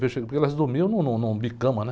Porque elas dormiam num, numa bicama, né?